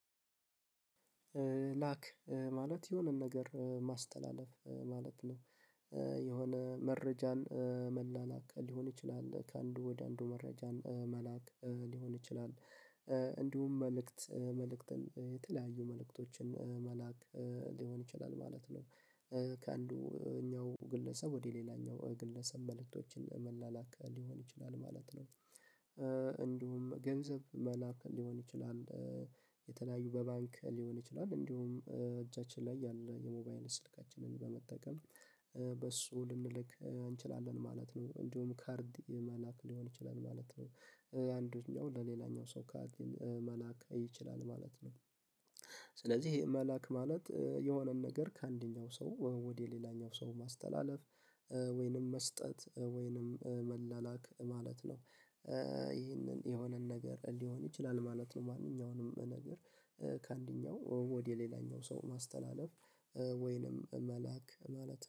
ላክ ማለት የሆነን ነገር ማስተላለፍ ማለት ነው። የሆነ መረጃን መላላክ ሊሆን ይችላል ከአንዱ ወደ አንዱ መረጃን መላክ ሊሆን ይችላል። እንዲሁም መልእክት መልእክትን የተለያዩ መልእክቶችን መላክ ሊሆን ይችላል ማለት ነው። ከአንደኛው ግለሰብ ወደ ሌላኛው ግለሰብ መልእክቶችን መላላክ ሊሆን ይችላል ማለት ነው እንዲሁም ገንዘብ መላክ ሊሆን ይችላል። የተለያዩ በባንክ ሊሆን ይችላል እንዲሁም እጃችን ላይ ያለ የሞባይል ስልካችንን በመጠቀም በሱ ልንልክ እንችላለን ማለት ነው። እንዲሁም ካርድ መላክ ሊሆን ይችላል ማለት ነው። አንደኛው ለሌላኛው ሰው ካርድ መላክ ይችላል ማለት ነው። ስለዚህ መላክ ማለት የሆነን ነገር ከአንደኛው ሰው ወደ ሌላኛው ሰው ማስተላለፍ። ወይንም መስጠት ወይንም መላላክ ማለት ነው። ይህንን የሆነን ነገር ሊሆን ይችላል ማለት ነው ማንኛውንም ነገር ከአንደኛው ወደ ሌላኛው ሰው ማስተላለፍ። ወይንም መላክ ማለት